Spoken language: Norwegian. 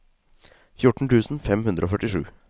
fjorten tusen fem hundre og førtisju